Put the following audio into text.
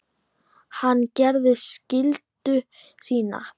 Hann gerir skyldu sína.